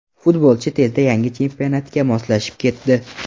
Futbolchi tezda yangi chempionatga moslashib ketdi.